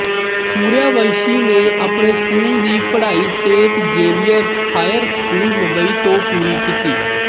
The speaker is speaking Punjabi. ਸੂਰਿਆਵੰਸ਼ੀ ਨੇ ਆਪਣੀ ਸਕੂਲ ਦੀ ਪੜ੍ਹਾਈ Saint Xavier's Higher School Mumbai ਤੋਂ ਪੂਰੀ ਕੀਤੀ